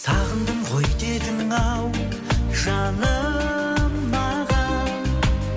сағындым ғой дедің ау жаным маған